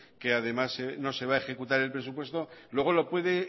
que además no se va a ejecutar el presupuesto luego lo puede